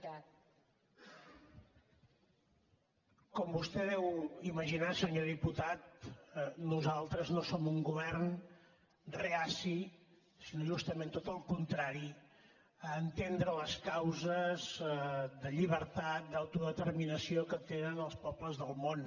com vostè deu imaginar senyor diputat nosaltres no som un govern reaci sinó justament tot el contrari a entendre les causes de llibertat d’autodeterminació que tenen els pobles del món